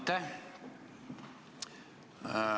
Aitäh!